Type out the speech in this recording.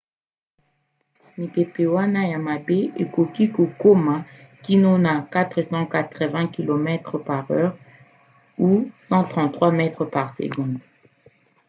mipepe wana ya mabe ekoki kokoma kino na 480 km/h 133 m/s; 300 mph